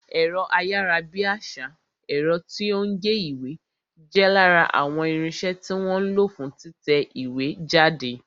Ẹ̀rọ ayárabíàṣá, ẹ̀rọ tí ó ń gé ìwé, jẹ́ lára àwọn irinsẹ́ tí wọ́n ń lo fún títẹ ìwé jáde